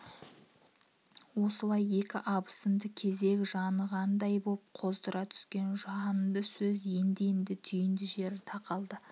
осылайекі абысынды кезек жанығандай боп қоздыра түскен жанды сөз енді-енді түйінді жеріне тақалды